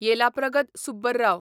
Yellapragada Subbarao